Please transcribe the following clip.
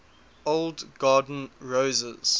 old garden roses